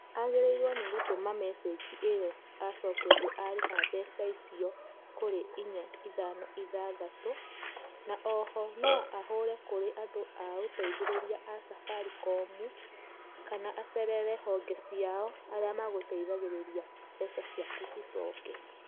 Agĩrĩirwo nĩ gũtũma message ĩyo acokerio arĩha mbeca icio kũrĩ inya ithano ithathatũ, na oho no ahũre kũrĩ andũ a ũteithĩrĩria a Safaricom, kana acerere honge ciao arĩa magũteithagĩrĩria mbeca ciaku cicoke.